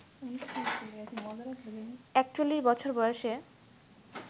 ৪১ বছর বয়সে